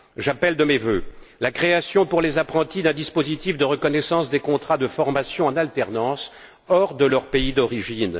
J'appelle de mes vœux la création, pour les apprentis, d'un dispositif de reconnaissance des contrats de formation en alternance hors de leur pays d'origine.